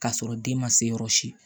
K'a sɔrɔ den ma se yɔrɔ si